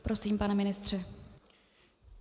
Prosím, pane ministře.